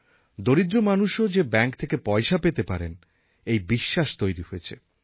দরিদ্র মানুষও যে ব্যাঙ্ক থেকে পয়সা পেতে পারেন এই বিশ্বাস তৈরি হয়েছে